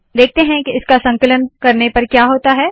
देखते है के इसका संकलन करने पर क्या होता है